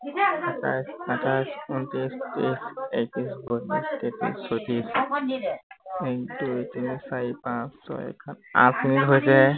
সাতাইশ আঠাইশ উনত্ৰিশ ত্ৰিশ একত্ৰিশ বত্ৰিশ তেত্ৰিশ চৌত্ৰিশ, এক দুই তিনি চাৰি পাঁছ ছয় সাত আঠ মিনিট হৈছেহে